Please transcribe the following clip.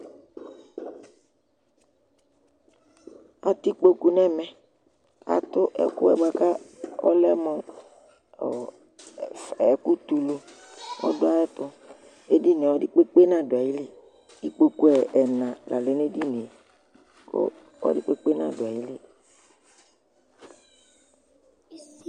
atɛ ikpɔkʋ nʋ ɛmɛ, atʋ ɛkʋɛ bʋakʋ ɔlɛmʋ ɛkʋ tɛ ʋlʋ ɔdʋ ayɛtʋ ,ɛdiniɛ ɔdi kpekpe nadʋ ayili, ikpɔkʋ ɛna la lɛnʋ ɛdiniɛ kʋ ɔdi kpekpe nadʋ ali